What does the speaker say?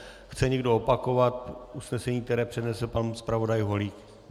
Chce někdo opakovat usnesení, které přednesl pan zpravodaj Holík?